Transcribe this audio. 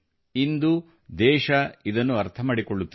ಇಂದು ದೇಶ ಇದನ್ನು ಅರ್ಥ ಮಾಡಿಕೊಳ್ಳುತ್ತಿದೆ